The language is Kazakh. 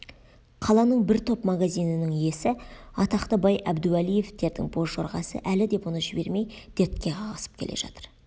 қаланың бір топ магазинінің иесі атақты бай әбдуәлиевтердің боз жорғасы әлі де бұны жібермей дерте қағысып келе жатыр